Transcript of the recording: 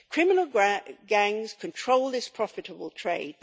Criminal gangs control this profitable trade.